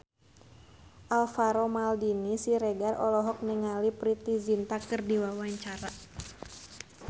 Alvaro Maldini Siregar olohok ningali Preity Zinta keur diwawancara